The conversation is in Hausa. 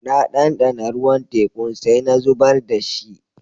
Na dandana ruwan tekun sai na zubar da shi.